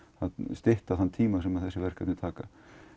stytta þann tíma sem þessi verkefni taka